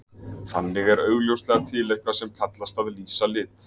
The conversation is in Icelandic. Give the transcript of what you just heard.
Þannig er augljóslega til eitthvað sem kallast að lýsa lit.